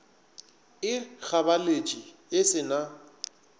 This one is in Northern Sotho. e gabaletše e se na